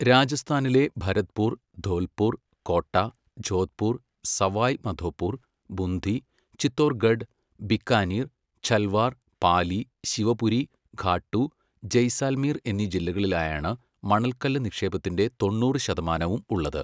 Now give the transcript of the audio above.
രാജസ്ഥാനിലെ ഭരത്പൂർ, ധോൽപൂർ, കോട്ട, ജോധ്പൂർ, സവായ് മധോപൂർ, ബുന്ദി, ചിത്തോർഗഡ്, ബിക്കാനീർ, ഝലവാർ, പാലി, ശിവപുരി, ഖാട്ടു, ജയ്സാൽമീർ എന്നീ ജില്ലകളിലായാണ് മണൽക്കല്ല് നിക്ഷേപത്തിന്റെ തൊണ്ണൂറ് ശതമാനവും ഉള്ളത്.